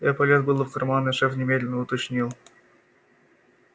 я полез было в карман и шеф немедленно уточнил